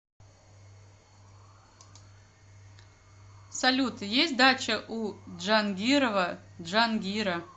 салют есть дача у джангирова джангира